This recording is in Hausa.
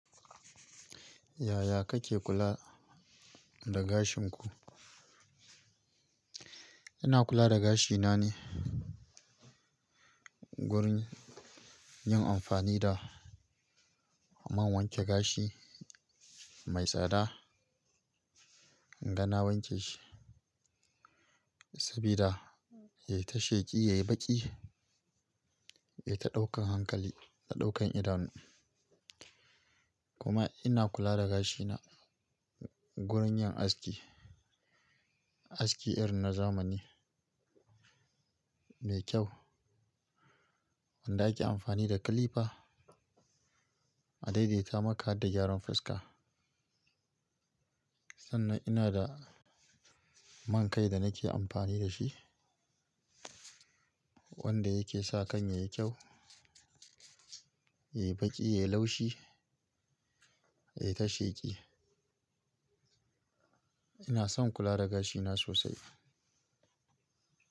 Yaya kake kula da gashin ku? Ina kula da gashina ne wurin yin amfani da man wanke gashi mai tsada, inga na wanke shi sabida ya yi ta sheƙi, ya yi baƙi, ya yi ta ɗaukan hankali, ta ɗaukan idanu. Kuma ina kula da gashina wurin yin aski, aski irin na zamani mai kyau wanda ake amfani da clipper a daidaita maka har da gyaran fuska. Sannan ina da man kai da nake amfani da shi wanda yake sa kan yayi kyau, yayi baƙi, yayi laushi, yayi ta sheƙi. Ina son kula da gashina sosai.